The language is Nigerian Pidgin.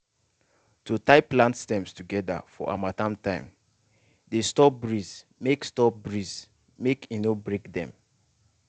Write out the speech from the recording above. to tie plant stems together for harmattan time dey stop breeze mk stop breeze mk e no break them